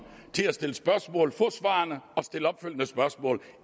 til at stille spørgsmål få svarene og stille opfølgende spørgsmål